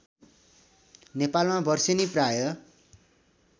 नेपालमा बर्सेनी प्रायः